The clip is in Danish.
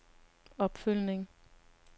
opfølgning